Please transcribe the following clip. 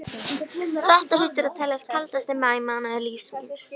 Þetta hlýtur að teljast kaldasti maí mánuður lífs míns.